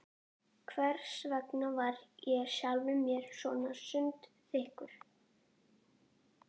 Hversvegna var ég sjálfum mér svo sundurþykkur?